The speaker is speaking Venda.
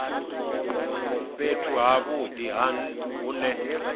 fhethu ha vhudi hu ne